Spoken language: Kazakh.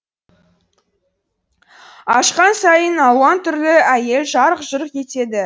ашқан сайын алуан түрлі әйел жарқ жұрқ етеді